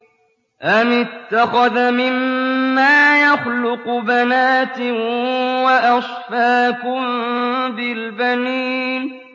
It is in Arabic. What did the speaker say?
أَمِ اتَّخَذَ مِمَّا يَخْلُقُ بَنَاتٍ وَأَصْفَاكُم بِالْبَنِينَ